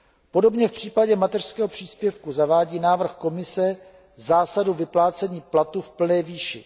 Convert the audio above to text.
Podobně v případě mateřského příspěvku zavádí návrh Komise zásadu vyplácení platu v plné výši.